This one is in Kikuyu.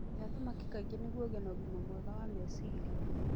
Aria thamaki kaingĩ nĩguo ũgĩe na ũgima mwega wa meciria.